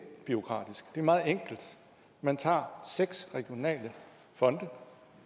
bureaukratisk det er meget enkelt man tager seks regionale fonde